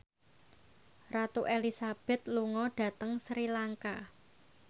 Ratu Elizabeth lunga dhateng Sri Lanka